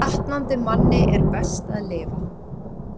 Batnandi manni er best að lifa